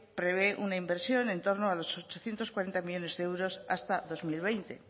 prevé una inversión en torno a los ochocientos cuarenta millónes de euros hasta dos mil veinte